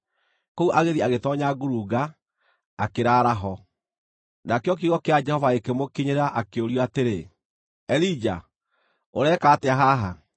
Kũu agĩthiĩ agĩtoonya ngurunga, akĩraara ho. Jehova Kuumĩrĩra Elija Nakĩo kiugo kĩa Jehova gĩkĩmũkinyĩra, akĩũrio atĩrĩ, “Elija, ũreka atĩa haha?”